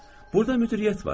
Burda müdiriyyət var.